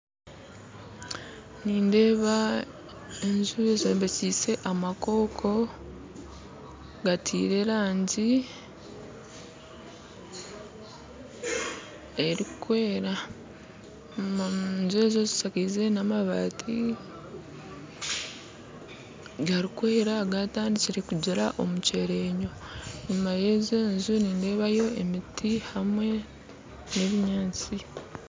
Nindeeba enju ezombikyise amakooko gatire rangyi erikwera enju ezo zishakize namabati garikwera gatandikire kugira omucyerenyo enyuma ya ezo enju nindeebayo emiti hamwe na ebinyaatsi